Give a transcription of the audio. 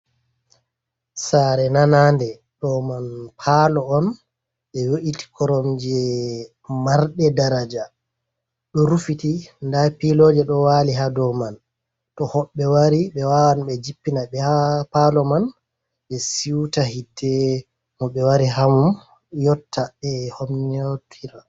Sare nanade do man palo on be yo’iti korom je marɗe daraja ,do rufiti dapiloje do wali ha do man to hoɓbe wari ɓe wawan be jippina be a palo man be siuta hite mo ɓe wari hamum yotta be homnotira.